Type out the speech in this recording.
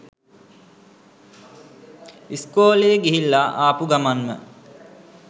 ඉස්කෝලේ ගිහිල්ලා ආපු ගමන්ම